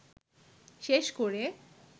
শেষ করে